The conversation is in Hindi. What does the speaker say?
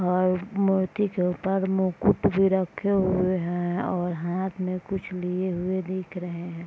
और मूर्ति के ऊपर मुकट भी रखे हुए हैं और हाथ में कुछ लिए हुए दिख रहे हैं।